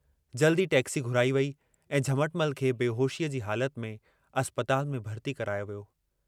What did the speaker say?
जल्दु ई टैक्सी घुराई वेई ऐं झमटमल खे बेहोशीअ जी हालत में अस्पताल में भर्ती करायो वियो।